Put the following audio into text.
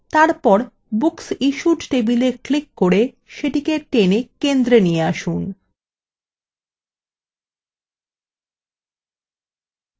তারপর booksissued tableএ click করে সেটিকে টেনে centre নিয়ে আসুন